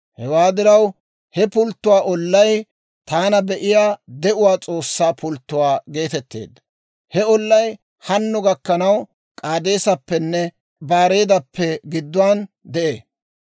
Hewaa diraw he pulttuwaa ollay, «Taana Be'iyaa De'uwaa S'oossaa Pulttuwaa» geetetteedda; he ollay hanno gakkanaw K'aadeeseppenne Baareedappe gidduwaan de'ee.